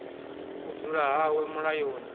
u dzula hawe hu mulayoni